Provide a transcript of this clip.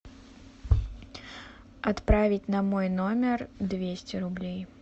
отправить на мой номер двести рублей